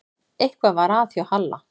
Eitthvað var að hjá Halla.